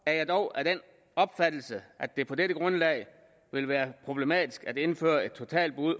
er jeg dog af den opfattelse at det på dette grundlag vil være problematisk at indføre et totalt